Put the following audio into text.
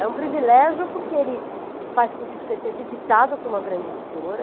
É um privilégio porque ele faz com que você seja editado por uma grande editora.